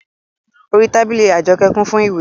Orí tábìlì Àjọkẹ́ kún fún ìwé